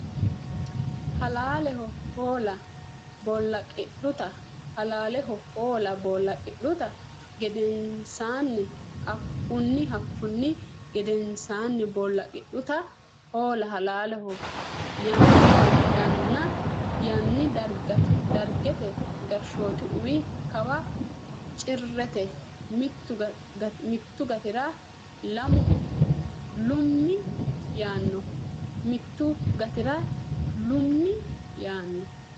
halaaleho hoola boolaqidhuta gedensaanni Hakkunni Hakkunni gedensaanni boolaqidhuta hoola halaaleho yaanni Dargete gashshooti uwi kawa Cirrete mittu gatira lummi yaanno !